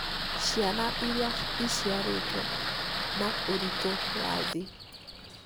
ciana iria iciarĩtwo na ũritũ wa thĩ